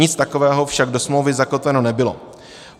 Nic takového však do smlouvy zakotveno nebylo.